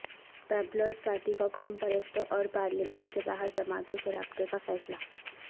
Peoples Party کا قوم پرستوں اور پارلیمان سے باہرجماعتوں سے رابطےکا فیصلہ